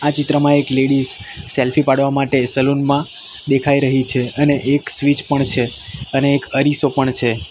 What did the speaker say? આ ચિત્રમાં એક લેડીસ સેલ્ફી પાડવા માટે સલૂન માં દેખાય રહી છે અને એક સ્વીચ પણ છે અને એક અરીસો પણ છે.